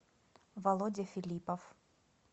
володя филиппов